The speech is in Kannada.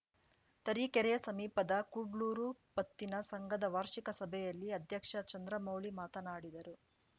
ತರೀಕೆರೆ ಸಮೀಪದ ಕುಡ್ಲೂರು ಪತ್ತಿನ ಸಂಘದ ವಾರ್ಷಿಕ ಸಭೆಯಲ್ಲಿ ಅಧ್ಯಕ್ಷ ಚಂದ್ರಮೌಳಿ ಮಾತನಾಡಿದರು